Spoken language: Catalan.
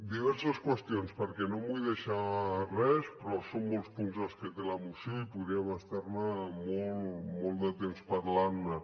diverses qüestions perquè no em vull deixar res però són molts punts els que té la moció i podríem estar ne molt de temps parlant ne